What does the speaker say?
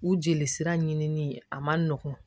U jelisira ɲinini a man nɔgɔn